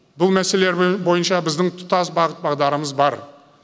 бұл мәселелер бойынша біздің тұтас бағыт бағдарымыз бар